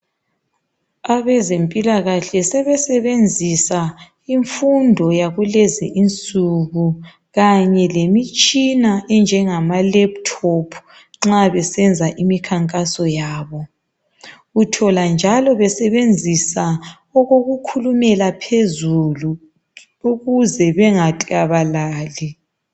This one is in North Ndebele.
Abezempilakahle sebesebenzisa imfundo yakulezi insuku kanye lemitshina enjengamalephuthophu nxa besenza imikhankaso yabo. Uthola njalo besebenzisa okokukhulumela phezulu ukuze bengaklabalali.